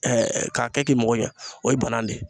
k'a kɛ k'i mago ɲɛ o ye banan de ye